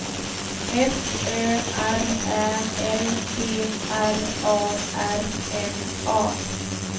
F Ö R Ä L D R A R N A